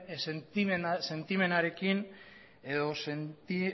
sentimenarekin edo